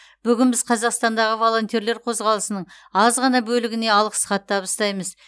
бүгін біз қазақстандағы волонтерлер қозғалысының аз ғана бөлігіне алғыс хат табыстаймыз